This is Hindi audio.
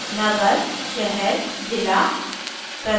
नगर/शहर/जिला